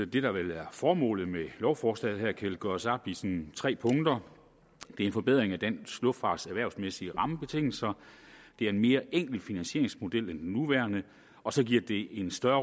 det der vel er formålet med lovforslaget her kan gøres op i tre punkter det er en forbedring af dansk luftfarts erhvervsmæssige rammebetingelser det er en mere enkel finansieringsmodel end den nuværende og så giver det en større